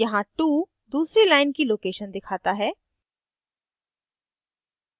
यहाँ 2 दूसरी line की location दिखाता है